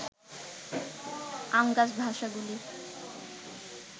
আঙ্গাস ভাষাগুলি